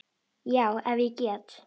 Já, ef ég get.